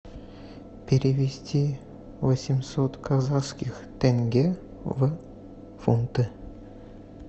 перевести восемьсот казахских тенге в фунты